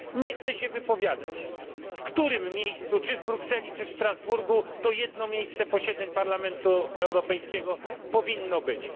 Nie chcę się wypowiadać, w którym miejscu czy w Brukseli, czy w Strasburgu to jedno miejsce posiedzeń Parlamentu Europejskiego powinno być.